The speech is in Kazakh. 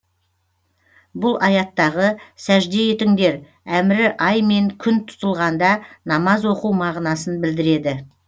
бұл аяттағы сәжде етіңдер әмірі ай мен күн тұтылғанда намаз оқу мағынасын білдіреді